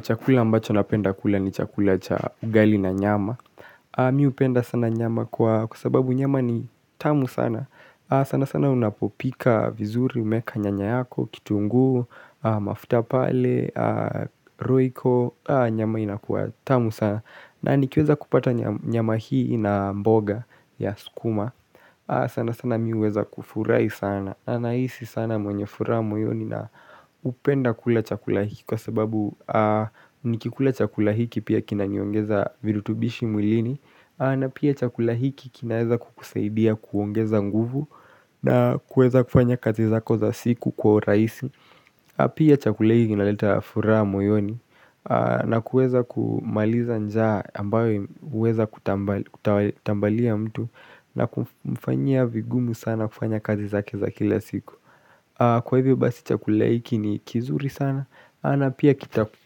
Chakula ambacho napenda kula ni chakula cha ugali na nyama. Mimi upenda sana nyama kwa sababu nyama ni tamu sana. Sana sana unapopika vizuri, umeka nyanya yako, kitungu, mafuta pale, roiko. Nyama ina kwa tamu sana. Na nikiweza kupata nyama hii na mboga ya sukuma sana sana mi uweza kufurai sana na naisi sana mwenye fura moyoni na upenda kula chakula hiki Kwa sababu nikikula chakula hiki pia kina nyongeza virutubishi mwilini na pia chakula hiki kinaeza kukuseidia kuongeza nguvu na kueza kufanya kaza zako za siku kwa uraisi Pia chakula hiki kina leta furaha moyoni na kueza kumaliza njaa ambayo uweza kutambalia mtu na kufanya vigumu sana kufanya kazi za kila siku Kwa hivyo basi cha kuleiki ni kizuri sana na pia